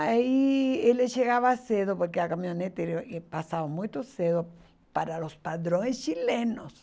Aí ele chegava cedo, porque a caminhonete era passava muito cedo para os padrões chilenos.